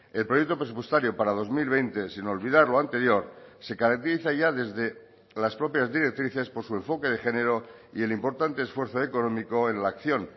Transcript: el proyecto presupuestario para dos mil veinte sin olvidar lo anterior se caracteriza ya desde las propias directrices por su enfoque de género y el importante esfuerzo económico en la acción